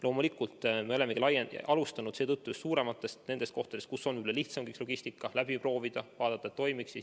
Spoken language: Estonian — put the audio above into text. Loomulikult me olemegi alustanud just seetõttu suurematest kohtadest, et seal on lihtsam logistikat läbi proovida ja vaadata, et kõik toimiks.